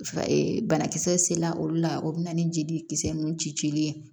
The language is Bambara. banakisɛ sela olu la o bɛ na ni jelikisɛ ninnu ci cili ye